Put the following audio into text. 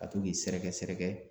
Ka to k'i sɛrɛkɛ sɛrɛkɛ.